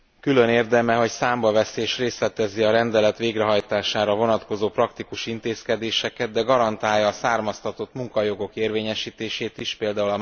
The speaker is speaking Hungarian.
Külön érdeme, hogy számba veszi és részletezi a rendelet végrehajtására vonatkozó praktikus intézkedéseket, de garantálja a származtatott munkajogok érvényesítését is, pl.